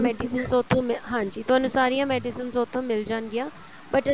medicines ਉੱਥੋ ਮਿਲ ਹਾਂਜੀ ਤੁਹਾਨੂੰ ਸਾਰੀਆਂ medicines ਉੱਥੋ ਮਿਲ ਜਾਣਗੀਆ but